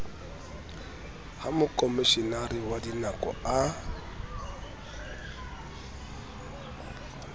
ha mokomeshenara wa dikano a